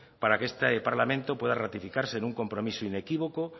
para que este parlamento pueda ratificarse en un compromiso inequívoco